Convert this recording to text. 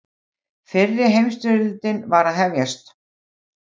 Fyrri heimsstyrjöldin var að hefjast.